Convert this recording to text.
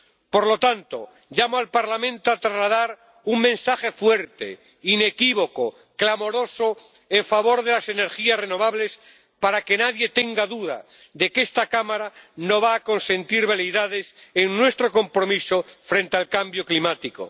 Por lo tanto, llamo al Parlamento a trasladar un mensaje fuerte, inequívoco y clamoroso en favor de las energías renovables, para que nadie tenga duda de que esta Cámara no va a consentir veleidades en nuestro compromiso frente al cambio climático.